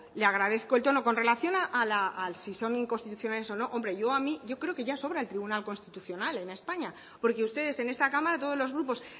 le agradezco el tono con relación a si son inconstitucionales o no yo creo que ya sobra el tribunal constitucional en españa porque ustedes en esta cámara todos los grupos